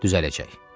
Düzələcək.